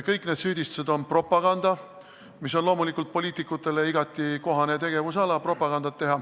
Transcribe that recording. Kõik need süüdistused on propaganda, mis on loomulikult poliitikutele igati kohane tegevus.